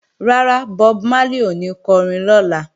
Rárá, Bob Marley ò ní kọrin lọ́la